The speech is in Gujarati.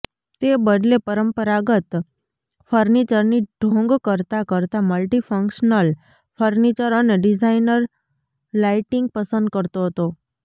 તે બદલે પરંપરાગત ફર્નિચરની ઢોંગ કરતા કરતાં મલ્ટીફંક્શનલ ફર્નિચર અને ડિઝાઈનર લાઇટિંગ પસંદ કરતો હતો